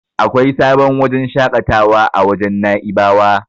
Akwai sabon wajen shaƙatawa a wajen Na'ibawa.